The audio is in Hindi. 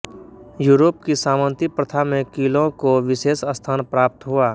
यूरोप की सामंती प्रथा में क़िलों को विशेष स्थान प्राप्त हुआ